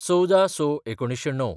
१४/०६/१९०९